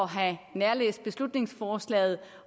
have nærlæst beslutningsforslaget